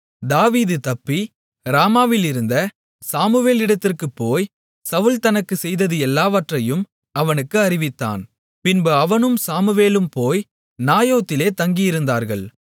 தாவீது தப்பி ராமாவிலிருந்த சாமுவேலிடத்திற்குப் போய் சவுல் தனக்குச் செய்தது எல்லாவற்றையும் அவனுக்கு அறிவித்தான் பின்பு அவனும் சாமுவேலும் போய் நாயோதிலே தங்கியிருந்தார்கள்